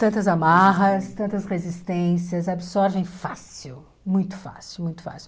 Tantas amarras, tantas resistências, absorvem fácil, muito fácil, muito fácil.